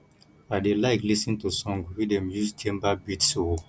i dey like lis ten to song wey dem use djembe beats o